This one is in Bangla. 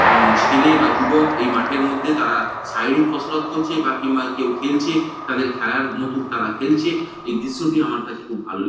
আঃ ছেলে বা যুবক এই মাঠের মধ্যে তারা শারীরিক কসরত করছে বা কিংবা কেউ খেলছে তাদের খেলার মতুক তারা খেলছে। এই দৃশ্যটি আমার কাছে খুব ভালো লে--